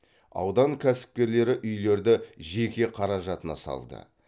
аудан кәсіпкерлері үйлерді жеке қаражатына салады